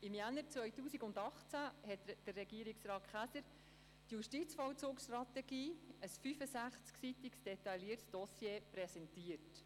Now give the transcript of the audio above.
Im Januar 2018 hat Regierungsrat Hans-Jürg Käser die Justizvollzugsstrategie, ein 65-seitiges, detailliertes Dossier, präsentiert.